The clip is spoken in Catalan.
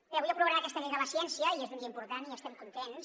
avui aprovem aquesta llei de la ciència i és un dia important i estem contents